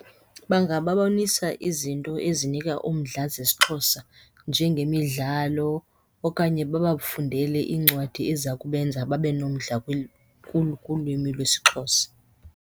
Bangababonisa izinto ezinika umdla zesiXhosa njengemidlalo okanye babafundele iincwadi eziza kubenza babe nomdla kulwimi lwesiXhosa.